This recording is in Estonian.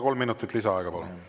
Kolm minutit lisaaega, palun!